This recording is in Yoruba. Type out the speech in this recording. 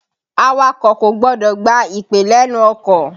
Awakọ̀ kò gbọdọ̀ gba ìpè lénu ọkọ̀.